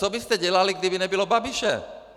Co byste dělali, kdyby nebylo Babiše?